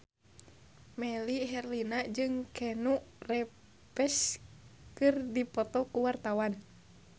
Melly Herlina jeung Keanu Reeves keur dipoto ku wartawan